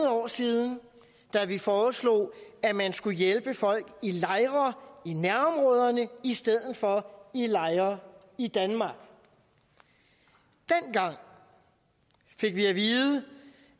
år siden da vi foreslog at man skulle hjælpe folk i lejre i nærområderne i stedet for i lejre i danmark dengang fik vi at vide